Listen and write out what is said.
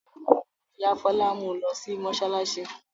Ìyá Fọlá mú u lọ sí mọ́ṣáláṣí.